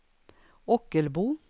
Ockelbo